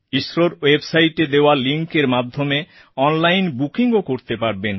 ইসরোর ওয়েবসাইটে দেওয়া লিংকএর মাধ্যমে অনলাইন বুকিংও করতে পারবেন